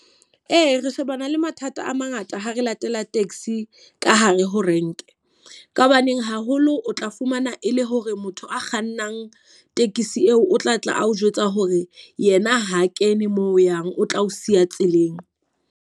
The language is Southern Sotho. Ee, re shebana le mathata a mangata ha re latela taxi ka hare ho renke. Ka hobaneng haholo o tla fumana e le hore motho a kgannang tekesi eo o tla tla a o jwetsa hore yena ha kene moo o yang, o tla o siya tseleng.